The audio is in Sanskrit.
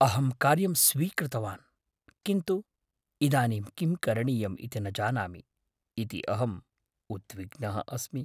अहं कार्यं स्वीकृतवान् किन्तु इदानीं किं करणीयम् इति न जानामि इति अहं उद्विग्नः अस्मि।